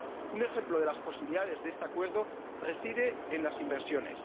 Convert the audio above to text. Un ejemplo de las posibilidades de este Acuerdo reside en las inversiones.